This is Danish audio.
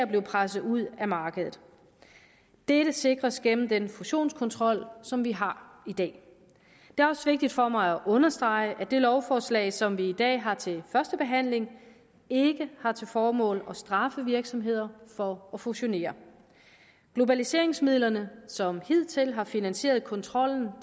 bliver presset ud af markedet dette sikres gennem den fusionskontrol som vi har i dag det er også vigtigt for mig at understrege at det lovforslag som vi i dag har til første behandling ikke har til formål at straffe virksomheder for at fusionere globaliseringsmidlerne som hidtil har finansieret kontrollen